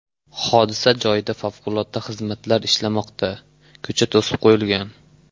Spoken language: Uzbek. Hodisa joyida favqulodda xizmatlar ishlamoqda, ko‘cha to‘sib qo‘yilgan.